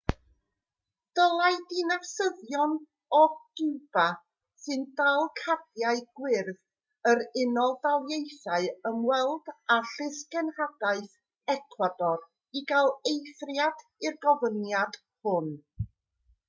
dylai dinasyddion o giwba sy'n dal cardiau gwyrdd yr unol daleithiau ymweld â llysgenhadaeth ecwador i gael eithriad i'r gofyniad hwn